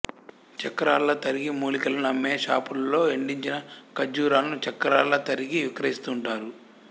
చక్రాల్లా తరిగి మూలికలు అమ్మే షాపుల్లో ఎండించిన కచ్చూరాలను చక్రాల్లా తరిగి విక్రయిస్తుంటారు